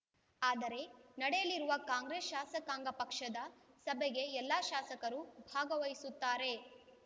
ಆದರೆ ನಡೆಯಲಿರುವ ಕಾಂಗ್ರೆಸ್‌ ಶಾಸಕಾಂಗ ಪಕ್ಷದ ಸಭೆಗೆ ಎಲ್ಲಾ ಶಾಸಕರೂ ಭಾಗವಹಿಸುತ್ತಾರೆ